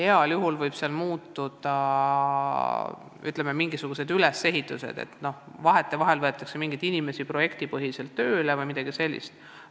Muutuda võib ehk programmide ülesehitus ja vahetevahel võetakse mingeid inimesi projektipõhiselt tööle jms.